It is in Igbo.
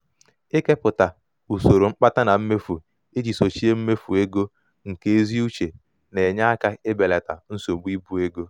ikepụta usoro mkpata na mmefu iji sochie mmefu ego nke ezi uche na-enye aka ibelata nsogbu ibu ego.